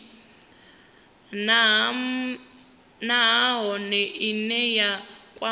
nha nahone ine ya kwama